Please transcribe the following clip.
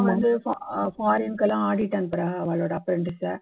அவாயெல்லாம் வந்து அஹ் foreign க்கு audit அனுப்புறா அவாளோட apprentice அ